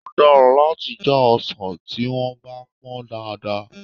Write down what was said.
Ó dára láti já ọsàn tí wọ́n bá pọ́n dáadáa.